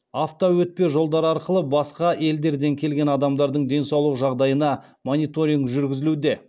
автоөтпе жолдар арқылы басқа елдерден келген адамдардың денсаулық жағдайына мониторинг жүргізілуде